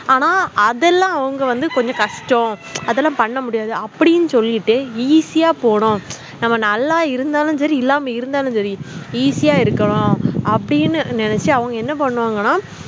ஆனா அதெலாம் அவங்க வந்து கொஞ்சம் கஷ்டம் அதெலாம் பண்ணமுடியாதுஅப்டின்னு சொல்லிட்டு easy ஆ போனோம் நம்ம நல்ல இருந்தாலும் சேரி இல்லாம இறுந்தலும் சேரி easy ஆ இருக்கனும் அப்புடின்னு நெனச்சு என்ன பண்ணுவாங்கன